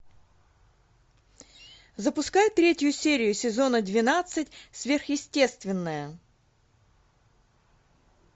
запускай третью серию сезона двенадцать сверхъестественное